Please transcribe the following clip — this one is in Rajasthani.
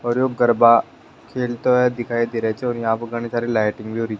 और यो गरबा खेलते हुए दिखाई दे रहो छ और यहाँ प घनी सारी लाइटिन्ग भी होरी।